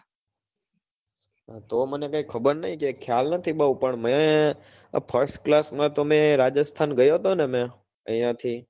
તો મને કાઈ ખબર નહિ કાઈ ખ્યાલ નથી બહુ પણ મેંઆ first class માં તો મેં રાજસ્થાન ગયો તો ને મેં અહિયાં થી